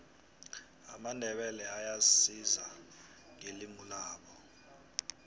amandebele ayazisa ngelimulabo